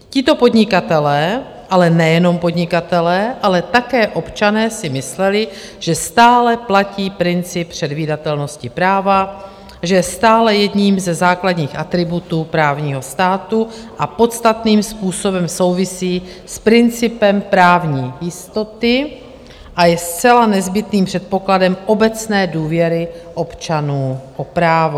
Tito podnikatelé, ale nejenom podnikatelé, ale také občané si mysleli, že stále platí princip předvídatelnosti práva, že je stále jedním ze základních atributů právního státu a podstatným způsobem souvisí s principem právní jistoty a je zcela nezbytným předpokladem obecné důvěry občanů v právo.